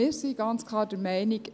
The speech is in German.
Wir sind ganz klar der Meinung: